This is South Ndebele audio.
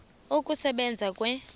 ukusebenza kwe s